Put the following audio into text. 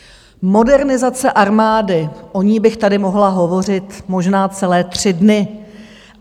Modernizace armády - o ní bych tady mohla hovořit možná celé tři dny.